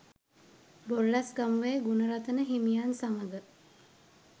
බොරලැස්‌ගමුවේ ගුණරතන හිමියන් සමග